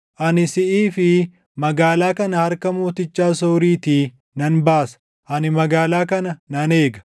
Ani siʼii fi magaalaa kana harka mooticha Asooriitii nan baasa. Ani magaalaa kana nan eega.